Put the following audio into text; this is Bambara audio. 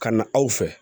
Ka na aw fɛ